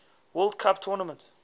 world cup tournament